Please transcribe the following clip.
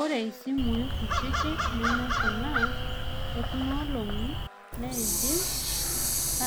Ore simui kutitik neme kuna ekunoolong'I, neidim